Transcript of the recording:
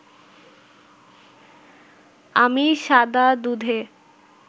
আমি সাদা দুধে